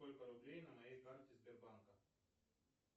сколько рублей на моей карте сбербанка